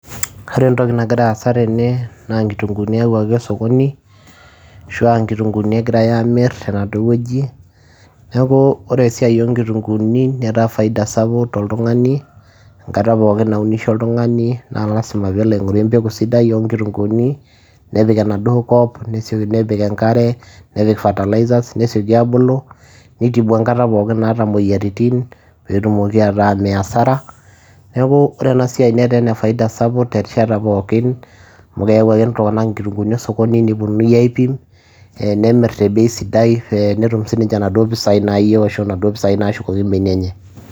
Ore entoki nagira aasa tene naa nkitung'uuni eyauwaki osokoni ashu a nkitung'uuni egirai aamir tena duo woji, neeku ore esiai o nkitung'uuni netaa faida sapuk toltung'ani enkata pookin naunisho oltung'ani naa lazima peelo aing'oru empeku sidai o nkitung'uuni nepik enaduo kop nesio nepik enkare, nepik fertilizers nesioki aabulu, nitibu enkata pookin naata imoyiaritin peetumoki ataa mee hasara. Neeku ore ena siai netaa ene faida sapuk terishata pookin amu keyau ake iltung'anak inkitung'uuni osokoni, neponunui aiipim, nemir te bei sidai ee netum sininje inaduo pisai nayeu ashu naduo pisai naashukoki mbenia enye.